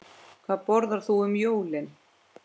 Hvað borðar þú um jólin?